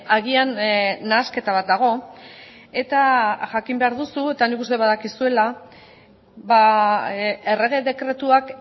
agian nahasketa bat dago eta jakin behar duzu eta nik uste badakizuela errege dekretuak